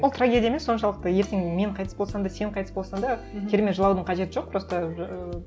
ол трагедия емес соншалықты ертең мен қайтыс болсам да сен қайтыс болсаң да керемет жылаудың қажеті жоқ просто ыыы